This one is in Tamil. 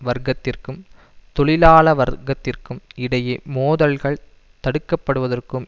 வர்க்கத்திற்கும் தொழிலாள வர்க்கத்திற்கும் இடையே மோதல்கள் தடுக்கப்படுவதற்கும்